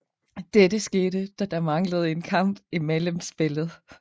Dette skete da der manglede en kamp i mellemspillet